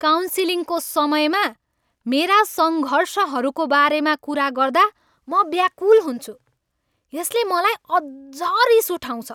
काउन्सिलिङको समयमा मेरा सङ्घर्षहरूको बारेमा कुरा गर्दा म व्याकुल हुन्छु। यसले मलाई अझ रिस उठाउँछ।